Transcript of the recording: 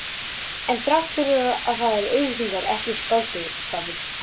En þrátt fyrir það eru auglýsingar ekki skáldskapur.